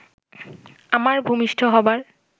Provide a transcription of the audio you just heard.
আমার ভূমিষ্ঠ হবার